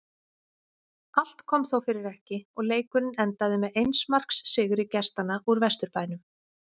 Allt kom þó fyrir ekki og leikurinn endaði með eins marks sigri gestanna úr Vesturbænum.